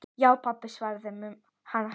Já, pabba, svaraði hann hægt.